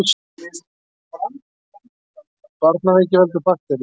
Barnaveiki veldur baktería.